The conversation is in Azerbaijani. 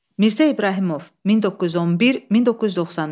Mirzə İbrahimov, 1911-1993.